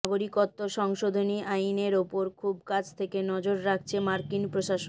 নাগরিকত্ব সংশোধনী আইনের ওপর খুব কাছ থেকে নজর রাখছে মার্কিন প্রশাসন